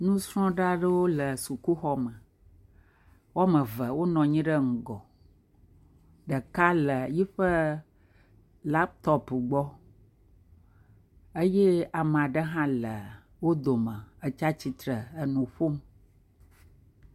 Ŋusrɔ̃la aɖewo le sukuxɔme. Wo ame eve wonɔ anyi ɖe ŋgɔ. Ɖeka le yiƒe laptɔpu gbɔ eye ame aɖe hã le wo dome etsi atsitre enu ƒom.